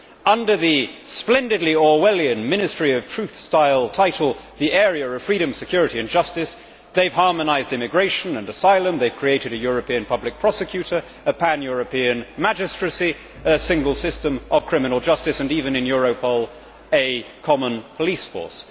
Under the splendidly Orwellian, Ministry of Truth style title, the area of freedom, security and justice', they have harmonised immigration and asylum, they have created a European public prosecutor, a pan European magistracy, a single system of criminal justice and even, in Europol, a common police force.